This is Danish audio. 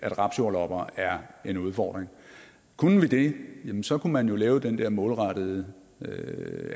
rapsjordlopper er en udfordring kunne vi det jamen så kunne man jo lave den der målrettede